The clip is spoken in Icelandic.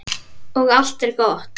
Og allt er gott.